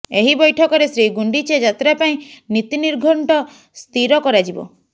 ଏହି ବୈଠକରେ ଶ୍ରୀଗୁଣ୍ଡିଚା ଯାତ୍ରା ପାଇଁ ନୀତି ନିର୍ଘଣ୍ଟ ସ୍ଥିର କରାଯିବ